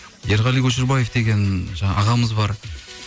ерғали көшербаев деген жаңағы ағамыз бар